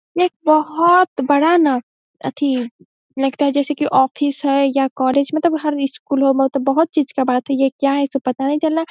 एक बोहोत बड़ा ना आथी है। लगता है जैसे ऑफिस है या कॉलेज मतलब हर इस स्कूल बोहोत चीज का बात ये सब क्या है पता नहीं चल रहा --